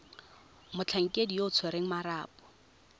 motlhankedi yo o tshwereng marapo